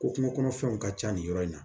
Ko kungo kɔnɔ fɛnw ka ca nin yɔrɔ in na